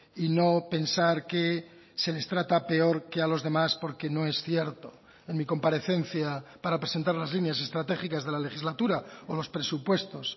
y no pensar que se les trata peor que a los demás porque no es cierto en mi comparecencia para presentar las líneas estratégicas de la legislatura o los presupuestos